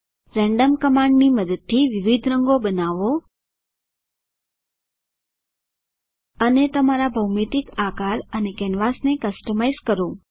random કમાન્ડની મદદથી વિવિધ રંગો બનાવો અને તમારા ભૌમિતિક આકાર અને કેનવાસને કસ્ટમાઇઝ કરો